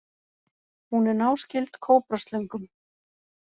Hún er náskyld kóbraslöngum.